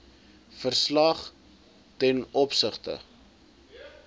verslag ten opsigte